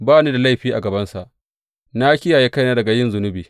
Ba ni da laifi a gabansa na kiyaye kaina daga yin zunubi.